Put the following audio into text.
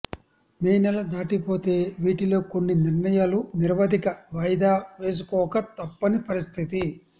మే నెల దాటిపోతే వీటిలో కొన్ని నిర్ణయాలు నిరవధిక వాయిదా వేసుకోక తప్పని పరిస్ధితి